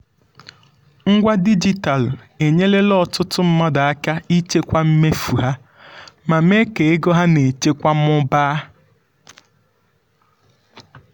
ngwa dijitalụ enyerela ọtụtụ mmadụ aka ịchịkwa mmefu ha ma mee ka ego ha na-echekwa mụbaa.